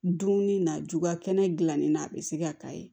Dumuni na juga kɛnɛ gilanni na a be se ka k'a ye